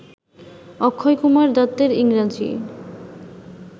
অক্ষয়কুমার দত্তের ইংরাজি